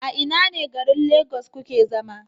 A ina ne garin lagos kuke zama?